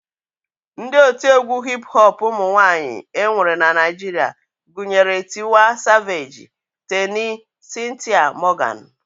Ndị otiegwu hip hop ụmụnwaanyị e nwere na Naijiria gụnyere Tiwa savage, Teni, Cynthia Morgan